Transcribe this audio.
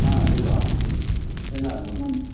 ಹಾ ಸಿಗುವಾ, ಎಲ್ಲಾಗ್ಬೋದು?